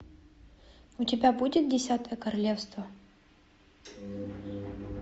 у тебя будет десятое королевство